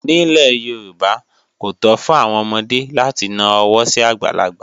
Nílẹ̀ Yorùbá, kò tó fún àwọn ọmọdé láti na ọwọ́ sí àgbàlagbà